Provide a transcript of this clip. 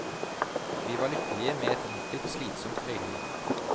Vi var lykkelige med et enkelt, slitsomt øyliv.